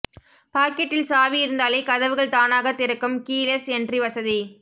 பாக்கெட்டில் சாவி இருந்தாலே கதவுகள் தானாக திறக்கும் கீ லெஸ் என்ட்ரி வசதி